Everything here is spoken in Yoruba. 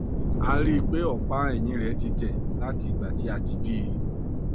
a rí i pé ọpá ẹyìn rẹ ti tẹ láti ìgbà tí a ti bí i